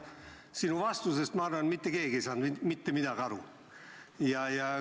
Aga ma arvan, et sinu vastusest ei saanud mitte keegi mitte midagi aru.